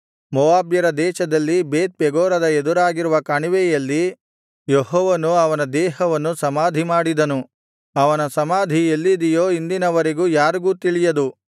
ಮೋವಾಬ್ಯರ ದೇಶದಲ್ಲಿ ಬೇತ್‍ಪೆಗೋರದ ಎದುರಾಗಿರುವ ಕಣಿವೆಯಲ್ಲಿ ಯೆಹೋವನು ಅವನ ದೇಹವನ್ನು ಸಮಾಧಿಮಾಡಿದನು ಅವನ ಸಮಾಧಿ ಎಲ್ಲಿದೆಯೋ ಇಂದಿನ ವರೆಗೆ ಯಾರಿಗೂ ತಿಳಿಯದು